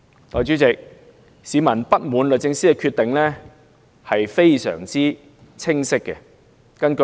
代理主席，市民不滿律政司的決定，是非常清晰的。